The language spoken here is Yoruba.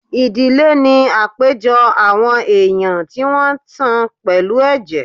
Ìdílé ní àpéjọ àwọn èèyàn tí wọ́n tan pẹ̀lú ẹ̀jẹ̀